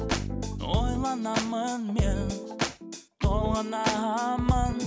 ойланамын мен толғанамын